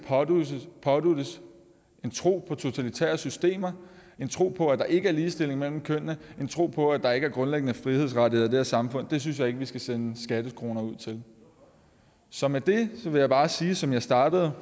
påduttes en tro på totalitære systemer en tro på at der ikke er ligestilling mellem kønnene en tro på at der ikke er grundlæggende frihedsrettigheder samfund det synes jeg ikke vi skal sende skattekroner ud til så med det vil jeg bare sige som jeg startede